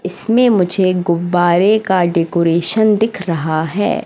इसमें मुझे गुब्बारे का डेकोरेशन दिख रहा है।